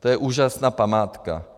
To je úžasná památka.